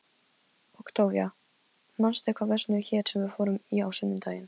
Októvía, manstu hvað verslunin hét sem við fórum í á sunnudaginn?